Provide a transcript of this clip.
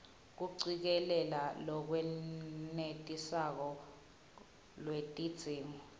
kucikelela lolwenetisako lwetidzingo